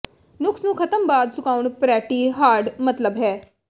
ਨੁਕਸ ਨੂੰ ਖਤਮ ਬਾਅਦ ਸੁਕਾਉਣ ਪਰੈਟੀ ਹਾਰਡ ਮਤਲਬ ਹੈ